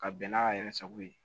Ka bɛn n'a yɛrɛ sago ye